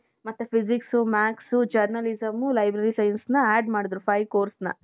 ಮತ್ತೆ physics, math's journalism, library science ನ add ಮಾಡಿದ್ರು five course ನ.